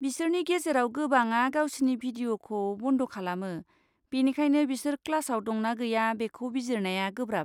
बिसोरनि गेजेराव गोबांआ गावसिनि भिदिअ'खौ बन्द खालामो, बेनिखायनो बिसोर क्लासाव दं ना गैया बेखौ बिजिरनाया गोब्राब।